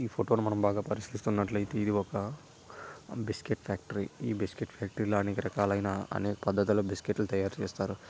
ఈ ఫోటో ని మనం బాగా పరిలిశీలిస్తే ఇది ఒక బిస్కీట్ ఫ్యాక్టరీ . ఈ బిస్కీట్ ఫ్యాక్టరీ అనేక రకాలైన అనేక పధాతులో బిస్కెట్ లు తయారు చేస్తారు.